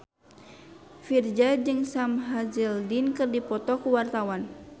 Virzha jeung Sam Hazeldine keur dipoto ku wartawan